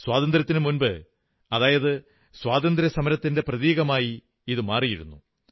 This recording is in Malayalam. സ്വാതന്ത്യത്തിനു മുമ്പ് അത് സ്വാതന്ത്ര്യസമരത്തിന്റെ പ്രതീകമായി മാറിയിരുന്നു